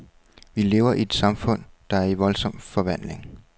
Vi lever i et samfund, der er i voldsom forvandling.